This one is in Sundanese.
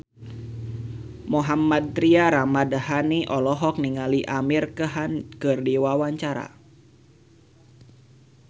Mohammad Tria Ramadhani olohok ningali Amir Khan keur diwawancara